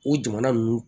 O jamana ninnu